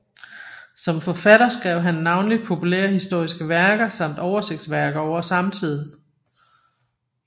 Som forfatter skrev han navnlig populærhistoriske værker samt oversigtsværker over samtiden